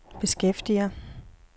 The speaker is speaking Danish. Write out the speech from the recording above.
beskæftiger